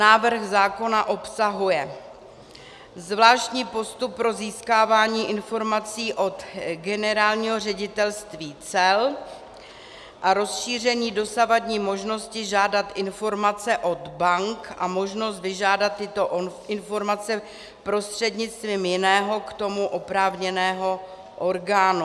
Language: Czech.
Návrh zákona obsahuje zvláštní postup pro získávání informací od Generálního ředitelství cel a rozšíření dosavadní možnosti žádat informace od bank a možnost vyžádat tyto informace prostřednictvím jiného k tomu oprávněného orgánu.